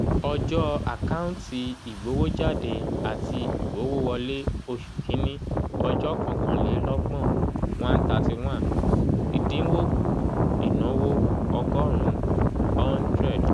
ọjọ́ àkáǹtì ìgbowójáde àti ìgbowówọlé oṣù kín-ní ọjọ́ kọkànlélọ́gbọ̀n one thirty one ìdinwó kù ìnáwó ọgọ́rùn-ún hundred